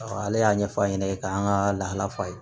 ale y'a ɲɛfɔ a ɲɛna k'an ka lahala fa ye